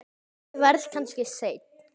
Ég verð kannski seinn.